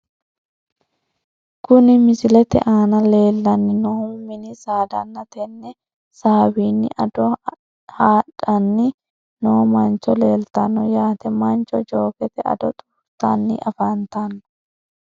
Kuni misilete aana leellanni noohu mini saadanna tenne saawiinni ado haadhanni noo manchoo leeltanno yaate , mancho jookete ado xuurtanni afantanno .